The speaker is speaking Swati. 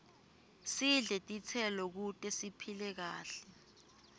sidle titselo kute siphile kahle